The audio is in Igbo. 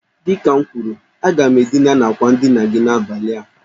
Dị ka m kwuru, aga m edina na àkwà ndina gi n'abalị a